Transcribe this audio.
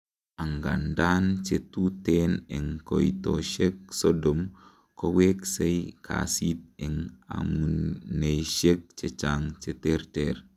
angandan, chetuten en koitoshek Sodom koweksei kasit en amuneisiek chechang cheterter